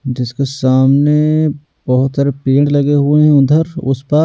जिसके सामने बहुत सारे पेड़ लगे हुए हैं उधर उस प--